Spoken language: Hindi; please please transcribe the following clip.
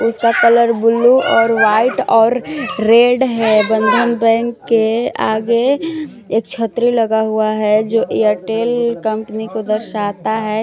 उसका कलर ब्लू और वाइट और रेड है। बंधन बैंक के आगे एक छतरी लगा हुआ है जो एयरटेल कंपनी को दर्शाता है।